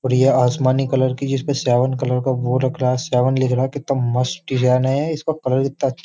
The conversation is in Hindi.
और ये आसमानी कलर की जिसपे सेवन कलर का वो रख रहा है सेवन लिख रहा है कितना मस्त डिजाइन है। इसका कलर कितना अ --